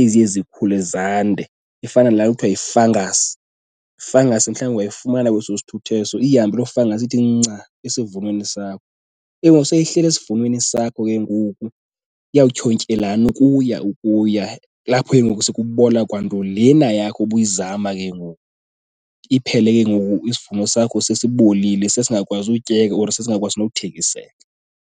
eziye zikhule zande. Ifana nalanto kuthiwa yifangasi, ifangasi mhlawumbi ungayifumana kweso sithuthi eso ihambe loo fangasi ithi nca esivunweni sakho. Ke ngoku sele ihleli esivunweni sakho ke ngoku iyawutyhontyelana ukuya ukuya, kulapho ke ngoku sekubola kwanto lena yakho ubuyizama ke ngoku. Iphele ke ngoku isivuno sakho sesibolile sesingakwazi utyeka or sesingakwazi nokuthengiseka.